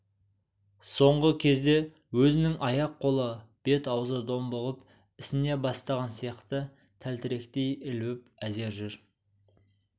соңғы кезде өзінің аяқ-қолы бет-аузы домбығып ісіне бастаған сияқты тәлтіректей ілбіп әзер жүр